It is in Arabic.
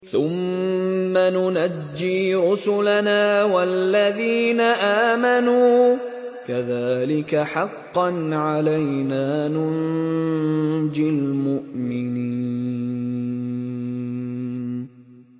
ثُمَّ نُنَجِّي رُسُلَنَا وَالَّذِينَ آمَنُوا ۚ كَذَٰلِكَ حَقًّا عَلَيْنَا نُنجِ الْمُؤْمِنِينَ